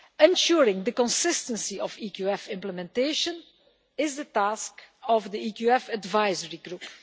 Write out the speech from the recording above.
Ensuring the consistency of EQF implementation is the task of the EQF advisory group.